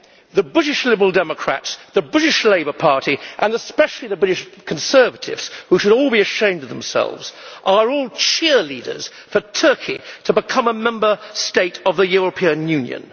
The British Liberal Democrats, the British Labour Party, and especially the British Conservatives, who should all be ashamed of themselves, are all cheerleaders for Turkey to become a Member State of the European Union.